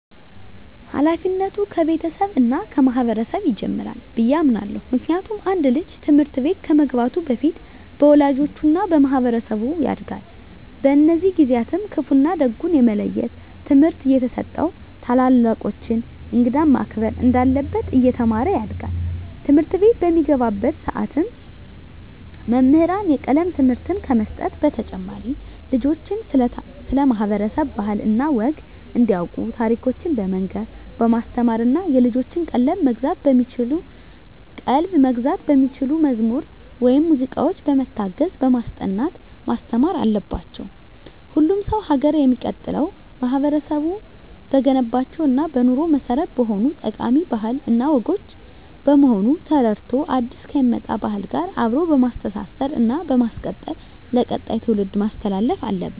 ሀላፊነቱ ከቤተሰብ እና ከማህበረሰብ ይጀምራል ብየ አምናለሁ። ምክንያቱም አንድ ልጅ ትምህርት ቤት ከመግባቱ በፊት በወላጆቹ እና በማህበረሰቡ ያጋድል። በእነዚህ ጊዜአትም ክፋ እና ደጉን የመለየት ትምህርት እየተሰጠው ታላላቆቹን፣ እንግዳን ማክበር እንዳለበት እየተማረ ያድጋል። ትምህርትቤት በሚገባባትም ሰዓት መምህራን የቀለም ትምህርትን ከመስጠት በተጨማሪ ልጆችን ስለ ማህበረሰብ ባህል እና ወግ እንዲያቁ ታሪኮችን በመናገር በማስተማር እና የልጆችን ቀልብ መግዛት በሚችሉ መዝሙር ወይም ሙዚቃዎች በመታገዝ በማስጠናት ማስተማር አለባቸው። ሁሉም ሰው ሀገር የሚቀጥለው ማህበረቡ በገነባቸው እና በኑሮ መሰረት በሆኑት ጠቃሚ ባህል እና ወጎች በመሆኑን ተረድቶ አዲስ ከሚመጣ ባህል ጋር አብሮ በማስተሳሰር እና በማስቀጠል ለቀጣይ ትውልድ ማስተላለፍ አለበት።